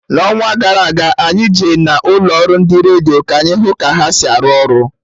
N'ọnwa gara aga, anyị Je na ụlọ ọrụ ndị redio ka anyị hụ ka ha si arụ ọrụ